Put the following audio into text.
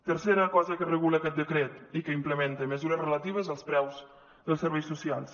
tercera cosa que regula aquest decret i que implementa mesures relatives als preus dels serveis socials